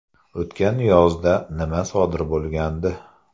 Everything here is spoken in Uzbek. O‘tgan yozda nima sodir bo‘lgandi?